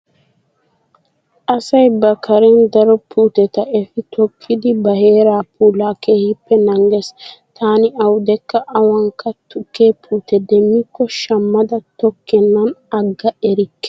Asay ba kareen daro puuteta efi tokkidi ba heeraa puulaa keehippe naagees. Taani awudekka awaanikka tukke puute demmikko shammada tokkennan agga erikke.